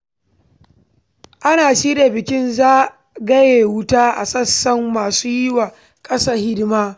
Ana shirya bikin zagaye wuta a sansanin masu yi wa ƙasa hidima.